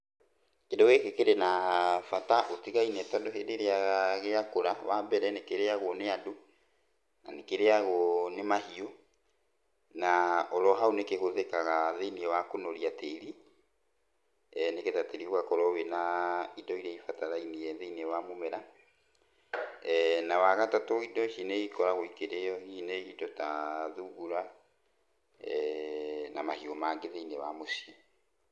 Kĩndũ gĩkĩ kĩrĩ na bata ũtigaine tondũ hĩndĩ ĩrĩa gĩakũra, wambere nĩ kĩrĩagwo nĩ andũ, na nĩkĩrĩagwo nĩ mahiũ, na oro hau nĩkĩhũthĩkaga thĩiniĩ wa kũnoria tĩri, nĩgetha tĩri ũgakorwo wĩna indo iria ibatarainie thĩiniĩ wa mũmera. Na wagatatũ indo ici nĩ ikoragwo ikĩrĩywo hihi nĩ indo ta thungura na mahiũ mangĩ thĩiniĩ wa mũciĩ.